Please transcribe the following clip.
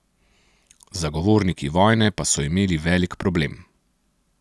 Zagovorniki vojne pa so imeli velik problem.